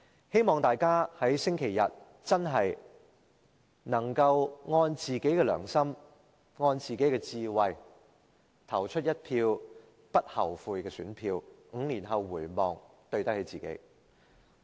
希望大家在星期日真的能按自己的良心和智慧，投出一票不後悔的選票 ，5 年後回望，對得起自己。